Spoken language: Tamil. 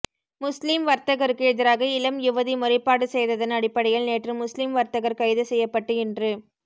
முஸ்லிம் வர்தகருக்கு எதிராக இளம் யுவதி முறைப்பாடு செய்ததன் அடிப்படையில் நேற்று முஸ்லிம் வர்த்தகர் கைது செய்யப்பட்டு இன்று